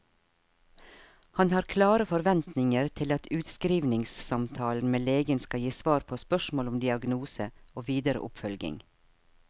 Han har klare forventninger til at utskrivningssamtalen med legen skal gi svar på spørsmål om diagnose og videre oppfølging.